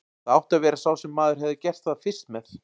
Það átti að vera sá sem maður hefði gert það fyrst með.